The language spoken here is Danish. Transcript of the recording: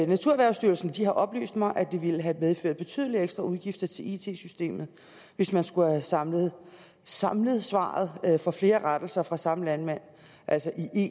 naturerhvervsstyrelsen har oplyst mig at det ville have medført betydelige ekstraudgifter til it systemet hvis man skulle have samlet samlet besvarelser af flere rettelser fra samme landmand